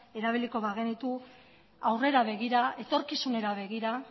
erabiliko bagenitu etorkizunera begira